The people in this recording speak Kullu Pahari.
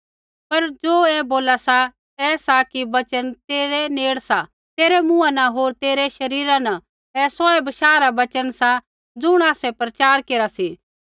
पर ज़ो ऐ बोला सा ऐ सा कि वचन तेरै नेड़े सा तेरै मुँहा न होर तेरै शरीरा न सा ऐ सोऐ बशाह रा वचन सा ज़ुण आसै प्रचार केरा सी